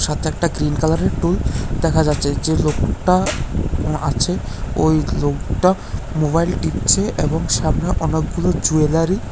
Green কালারের টুল দেখা যাচ্ছে যে লোকটা আছে ওই লোকটা মোবাইল টিপছে এবং সামনে অনেকগুলো জুয়েলারি ।